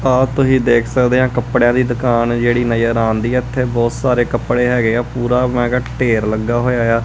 ਆਹ ਤੁਸੀਂ ਦੇਖ ਸਕਦੇ ਆਂ ਕੱਪੜਿਆ ਦੀ ਦੁਕਾਨ ਜਿਹੜੀ ਨਜ਼ਰ ਆਂਦੀ ਹੈ ਇੱਥੇ ਬਹੁਤ ਸਾਰੇ ਕੱਪੜੇ ਹੈਗੇ ਆ ਪੂਰਾ ਮੈ ਕਿਹਾ ਢੇਰ ਲੱਗ ਹੋਇਆ ਆ।